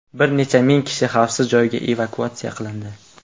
Bir necha ming kishi xavfsiz joylarga evakuatsiya qilindi.